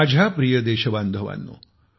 माझ्या प्रिय देश बांधवानो